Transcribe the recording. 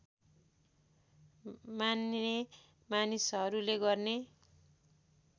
मान्ने मानिसहरूले गर्ने